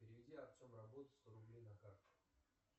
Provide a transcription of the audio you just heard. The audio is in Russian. переведи артем работа сто рублей на карту